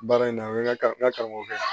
Baara in na u bɛ kan ka karamɔgɔ kɛ